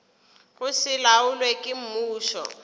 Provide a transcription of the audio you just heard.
go se laolwe ke mmušo